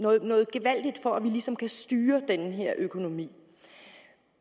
gevaldigt for at vi ligesom kan styre den her økonomi